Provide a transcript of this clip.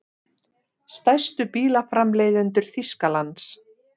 Stærstu bílaframleiðendur Þýskalands.